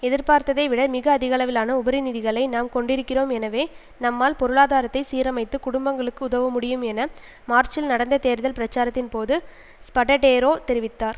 எதிர்பார்த்ததை விட மிக அதிகளவிலான உபரிநிதிகளை நாம் கொண்டிருக்கிறோம் எனவே நம்மால் பொருளாதாரத்தை சீரமைத்து குடும்பங்களுக்கு உதவ முடியும் என மார்ச்சில் நடந்த தேர்தல் பிரச்சாரத்தின் போது ஸ்படடேரோ தெரிவித்தார்